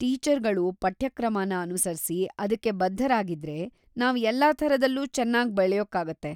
ಟೀಚರ್‌ಗಳು ಪಠ್ಯಕ್ರಮನ ಅನುಸರ್ಸಿ ಅದ್ಕೇ ಬದ್ಧರಾಗಿದ್ರೆ ನಾವ್ ಎಲ್ಲಾ ಥರದಲ್ಲೂ ಚೆನ್ನಾಗ್‌ ಬೆಳ್ಯೋಕಾಗತ್ತೆ.